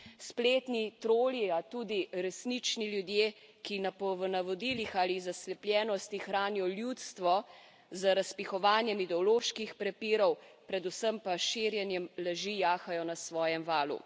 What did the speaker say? Spletni troli, a tudi resnični ljudje, ki po navodilih ali iz zaslepljenosti hranijo ljudstvo z razpihovanjem ideoloških prepirov, predvsem pa s širjenjem laži, jahajo na svojem valu.